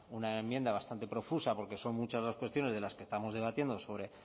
una enmienda bastante profusa porque son muchas las cuestiones de las que estamos debatiendo sobre